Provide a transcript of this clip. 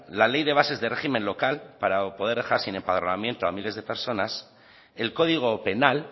la ley de bases de régimen local para poder dejar sin empadronamiento a miles de personas el código penal